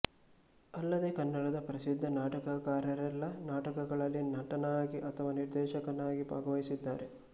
ಅಲ್ಲದೆ ಕನ್ನಡದ ಪ್ರಸಿದ್ಧ ನಾಟಕಕಾರರೆಲ್ಲರ ನಾಟಕಗಳಲ್ಲಿ ನಟನಾಗಿ ಅಥವಾ ನಿರ್ದೇಶಕನಾಗಿ ಭಾಗವಹಿಸಿದ್ದಾರೆ